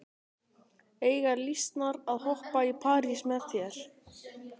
Eiga lýsnar að hoppa í parís með þér?